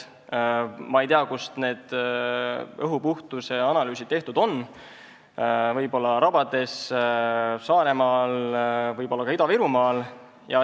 Ma ei tea, kus need õhu puhtuse analüüsid tehtud on, võib-olla rabades, Saaremaal, võib-olla ka Ida-Virumaal.